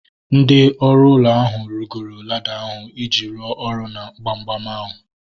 Ndị ọrụ ụlọ ahu rigoro lada ahu iji rụọ ọrụ na gbamgbam ahu